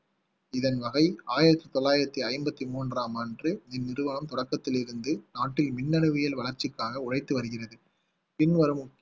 இதன் வகை ஆயிரத்தி தொள்ளாயிரத்தி ஐம்பத்தி மூன்றாம் ஆண்டு மின் நிருவாகம் தொடக்கத்தில் இருந்து நாட்டில் மின்னணுவியல் வளர்ச்சிக்காக உழைத்து வருகிறது பின் வரும்